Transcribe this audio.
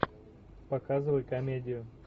показывай комедию